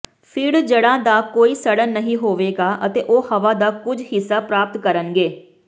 ਫਿਰ ਜੜ੍ਹਾਂ ਦਾ ਕੋਈ ਸਡ਼ਨ ਨਹੀਂ ਹੋਵੇਗਾ ਅਤੇ ਉਹ ਹਵਾ ਦਾ ਕੁਝ ਹਿੱਸਾ ਪ੍ਰਾਪਤ ਕਰਨਗੇ